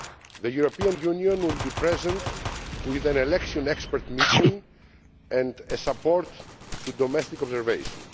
The European Union will be present with an Election Expert Mission and a support to domestic observation.